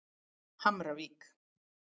Hamravík